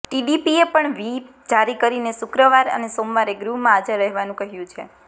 ટીડીપીએ પણ વ્હીપ જારી કરીને શુક્રવાર અને સોમવારે ગૃહમાં હાજર રહેવાનું કહ્યું છે